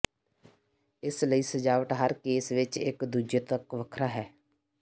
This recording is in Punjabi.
ਇਸ ਲਈ ਸਜਾਵਟ ਹਰ ਕੇਸ ਵਿਚ ਇਕ ਦੂਜੇ ਤੱਕ ਵੱਖਰਾ ਹੈ